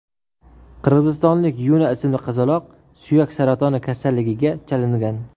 Qirg‘izistonlik Yuna ismli qizaloq suyak saratoni kasalligiga chalingan.